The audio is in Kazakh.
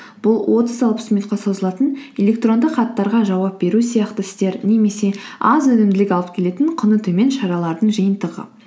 бұл отыз алпыс минутқа созылатын электрондық хаттарға жауап беру сияқты істер немесе аз өнімділік алып келетін құны төмен шаралардың жиынтығы